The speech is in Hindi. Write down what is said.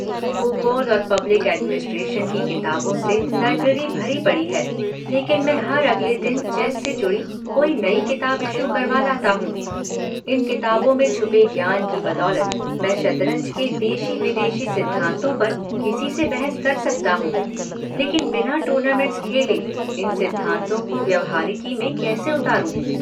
भूगोल और पब्लिक एडमिनिस्ट्रेशन की किताबों से लाइब्रेरी भरी पड़ी है लेकिन मैं हर अगले दिन चेस से जुड़ी कोई नई किताब इश्यू करवा लाता हूं- इन किताबों में छुपे ज्ञान की बदौलत मैं शतरंज के देगी-विदेशी सिद्धांतों पर किसी से बहस कर सकता हूं - लेकिन बिना टूर्नामेंट्स खेले इन सिद्धांतों को व्यवहारिकि में कैसे उतारूं-?